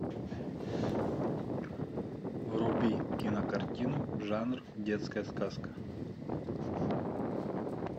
вруби кинокартину жанр детская сказка